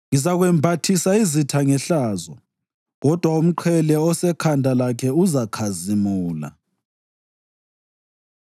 Ngizakwembathisa izitha ngehlazo, kodwa umqhele osekhanda lakhe uzakhazimula.”